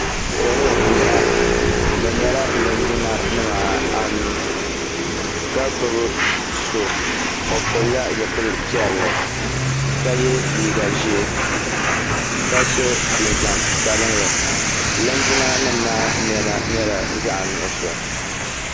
Salɔ n bɔŋɔ, bi nyɛla linjima anu. kagbubi so. ɔpilila zipilipiɛli. kaye lii gaʒɛɛ. kaso jinjam sabinli linjima nim maa nema nyɛla zaɣi nuɣuso